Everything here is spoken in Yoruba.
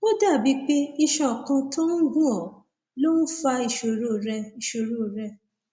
ó dàbíi pé iṣan kan tó ń gún ọ ló ń fa ìṣòro rẹ ìṣòro rẹ